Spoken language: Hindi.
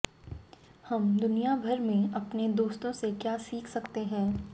हम दुनिया भर में अपने दोस्तों से क्या सीख सकते हैं